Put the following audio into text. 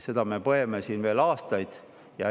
Seda me põeme siin veel aastaid.